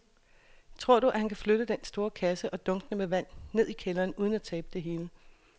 Tror du, at han kan flytte den store kasse og dunkene med vand ned i kælderen uden at tabe det hele?